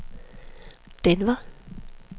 Denver